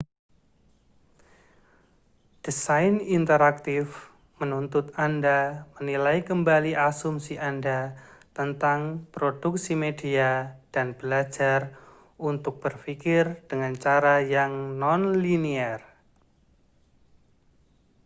desain interaktif menuntut anda menilai kembali asumsi anda tentang produksi media dan belajar untuk berpikir dengan cara yang non-linier